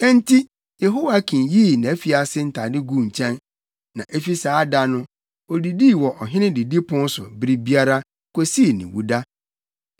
Enti Yehoiakin yii nʼafiase ntade guu nkyɛn, na efi saa da no odidii wɔ ɔhene didipon so bere biara, kosii ne wuda.